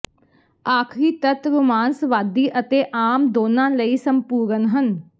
ਆਖਰੀ ਤੱਤ ਰੋਮਾਂਸਵਾਦੀ ਅਤੇ ਆਮ ਦੋਨਾਂ ਲਈ ਸੰਪੂਰਣ ਹੈ